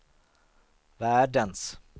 världens